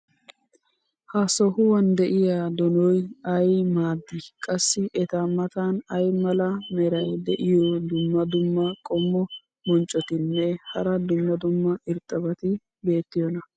ha sohuwan de'iya donoy ay maadii? qassi eta matan ay mala meray diyo dumma dumma qommo bonccotinne hara dumma dumma irxxabati beetiyoonaa?